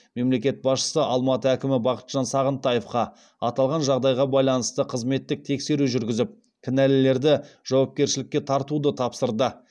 мемлекет басшысы алматы әкімі бақытжан сағынтаевқа аталған жағдайға байланысты қызметтік тексеру жүргізіп кінәлілерді жауапкершілікке тартуды тапсырды